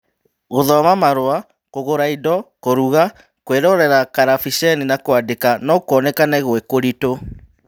Gũthoma marũa, kũgũra indo, kũruga, kwĩrorera karabiceni, na kwandĩka no kuonekane gwĩ kũritũ